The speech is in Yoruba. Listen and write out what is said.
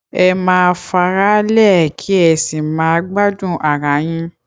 ẹ má faraálẹ kí ẹ sì máa gbádùn ara yín